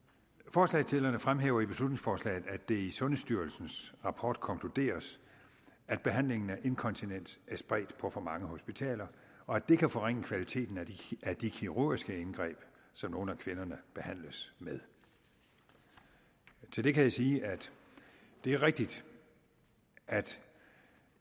forslagsstillerne fremhæver i beslutningsforslaget at det i sundhedsstyrelsens rapport konkluderes at behandlingen af inkontinens er spredt på for mange hospitaler og at det kan forringe kvaliteten af de kirurgiske indgreb som nogle af kvinderne behandles med til det kan jeg sige at det er rigtigt at